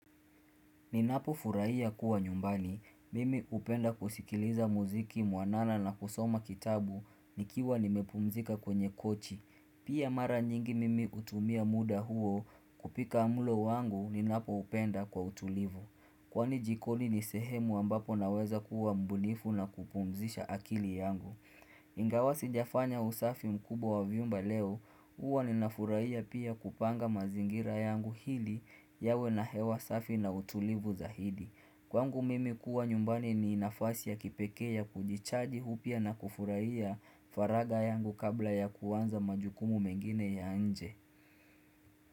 Ninapofurahia kuwa nyumbani. Mimi hupenda kusikiliza muziki mwanana na kusoma kitabu nikiwa nimepumzika kwenye kochi. Pia mara nyingi mimi hutumia muda huo kupika mlo wangu ninapo upenda kwa utulivu. Kwani jikoni nisehemu ambapo naweza kuwa mbunifu na kupumzisha akili yangu. Ingawa sijafanya usafi mkubwa wa vyumba leo huwa ninafurahia pia kupanga mazingira yangu ili yawe na hewa safi na utulivu zaidi Kwangu mimi kuwa nyumbani ninafasi ya kipekee ya kujichaji upya na kufurahia faraga yangu kabla ya kuanza majukumu mengine ya nje.